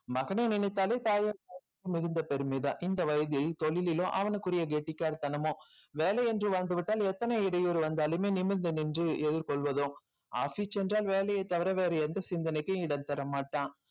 மகனை நினைத்தாலே தாயார் மிகுந்த பெருமைதான் இந்த வயதில் தொழிலிலும் அவனுக்குரிய கெட்டிக்காரத்தனமோ வேலை என்று வந்து விட்டால் எத்தன இடையூறு வந்தாலுமே நிமிர்ந்து நின்று எதிர்கொள்வதும் office என்றால் வேலையைத் தவிர வேறு எந்த சிந்தனைக்கும் இடம் தர மாட்டான்